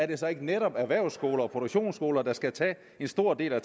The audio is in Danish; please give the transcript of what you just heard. det så ikke netop erhvervsskoler og produktionsskoler der skal trække en stor del af